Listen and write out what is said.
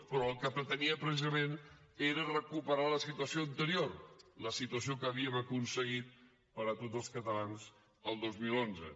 però el que pretenia precisament era recuperar la situació anterior la situació que havíem aconseguit per a tots els catalans el dos mil onze